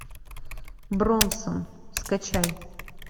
бронсон скачай